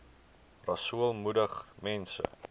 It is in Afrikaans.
rasool moedig mense